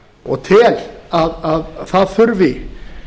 og tel að það þurfi